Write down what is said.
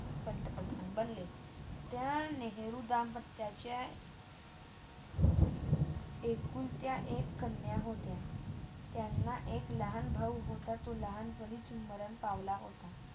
पंतप्रधान बनले. त्या नेहरू दंपटच्या एकूण त्या एकूण कन्या होत्या. त्यांना एक लहान भाऊ होता तो लहानपणीच मारण पावला होता